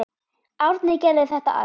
Árni gerði þetta allt.